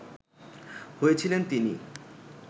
হয়েছিলেন তিনি